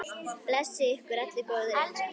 Blessi ykkur allir góðir englar.